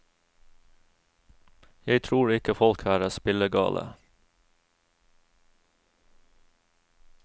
Jeg tror ikke folk her er spillegale.